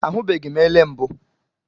Ahụbeghị m ele mbụ